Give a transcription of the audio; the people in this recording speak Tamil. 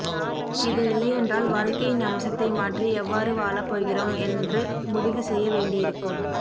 இது இல்லையென்றால் வாழ்க்கையின் அம்சத்தை மாற்றி எவ்வாறு வாழப் போகிறோம் என்று முடிவு செய்ய வேண்டியிருக்கும்